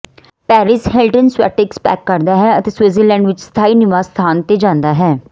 Paris Hilton ਸਵੈਟਿਕਸ pack ਕਰਦਾ ਹੈ ਅਤੇ ਸਵਿਟਜ਼ਰਲੈਂਡ ਵਿੱਚ ਸਥਾਈ ਨਿਵਾਸ ਸਥਾਨ ਤੇ ਜਾਂਦਾ ਹੈ